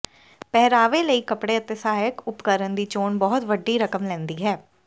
ਪਹਿਰਾਵੇ ਲਈ ਕੱਪੜੇ ਅਤੇ ਸਹਾਇਕ ਉਪਕਰਣ ਦੀ ਚੋਣ ਬਹੁਤ ਵੱਡੀ ਰਕਮ ਲੈਂਦੀ ਹੈ